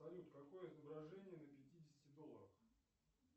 салют какое изображение на пятидесяти долларах